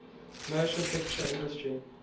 motion picture industry